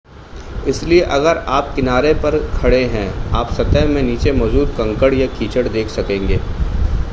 इसलिए अगर आप किनारे पर खड़े हैं आप सतह में नीचे मौजूद कंकड़ या कीचड़ देख सकेंगे